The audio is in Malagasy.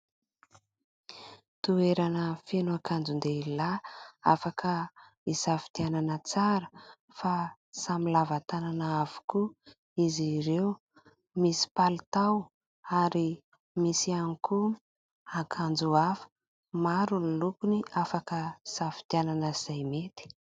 Toerana feno akanjon-dehilahy afaka hisafidianana tsara fa samy lava tanana avokoa izy ireo. Misy palitao ary misy ihany ihany koa akanjo hafa. Maro ny lokony afaka safidianana izay mety.